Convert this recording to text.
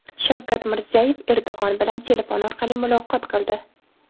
Shavkat Mirziyoyev Erdo‘g‘on bilan telefon orqali muloqot qildi.